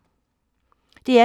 DR P2